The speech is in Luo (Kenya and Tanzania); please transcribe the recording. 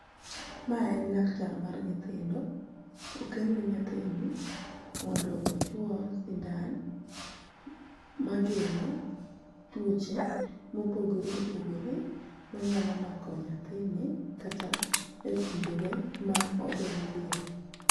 ma en laktar mar nyithindo okelne nyathini mondo ochuo sindan mageng'o tuoche mopogore opogore manyalo mako nyathini kata e kindege ma odong'ie